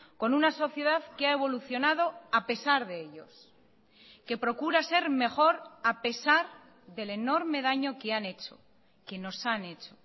con una sociedad que ha evolucionado a pesar de ellos que procura ser mejor a pesar del enorme daño que han hecho que nos han hecho